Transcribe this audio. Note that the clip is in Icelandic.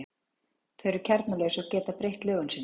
Þau eru kjarnalaus og geta breytt lögun sinni.